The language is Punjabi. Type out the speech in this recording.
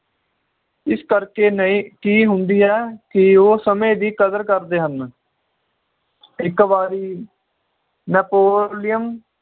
ਇਸ ਕਰਕੇ ਨਈ ਕੀ ਹੁੰਦੀ ਏ ਕਿ ਉਹ ਸਮੇ ਦੀ ਕਦਰ ਕਰਦੇ ਹਨ ਇਕ ਵਾਰੀ napolean